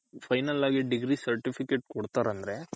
final ಆಗಿ degree certificate ಕೊಡ್ತಾರ್ ಅಂದ್ರೆ.